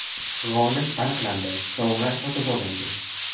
G‘olib aniqlandi, sovg‘a sotib olindi.